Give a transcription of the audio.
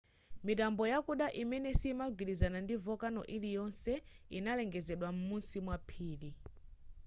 mitambo yakuda imene siyimagwilizana ndi volcano iliyonse inalengezedwa m'musi mwa phiri